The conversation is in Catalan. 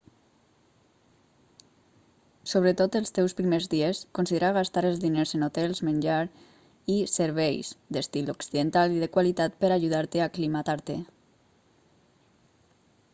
sobretot els teus primers dies considera gastar els diners en hotels menjar i serveis d'estil occidental i de qualitat per a ajudar-te a aclimatar-te